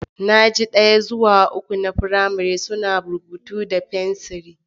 Na aji ɗaya zuwa uku na firamare suna rubutu da fenciri.